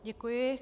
Děkuji.